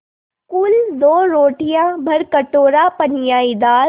कुल दो रोटियाँ भरकटोरा पनियाई दाल